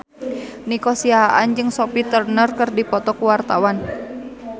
Nico Siahaan jeung Sophie Turner keur dipoto ku wartawan